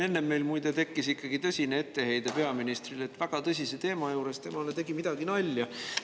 Enne meil, muide, tekkis ikkagi tõsine etteheide peaministrile, et väga tõsise teema juures tegi temale midagi nalja.